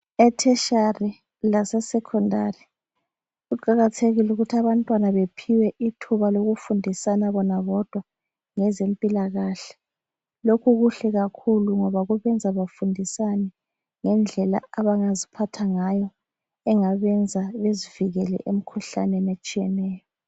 Etertiary lase secondary kuqakathekile ukuthi abantwana bephiwe ithuba lokufundisana bona bodwa ngezempilakahle. Lokhu kuhle kakhulu ngoba kubenza bafundisane, ngendlela abangaziphatha ngayo, engabenza bezivikele emkhuhlaneni etshiyeneyo.